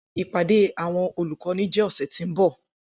Ipade awọn olukọni jẹ ọsẹ ti n bọ